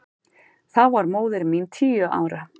Þá var móðir mín tíu ára.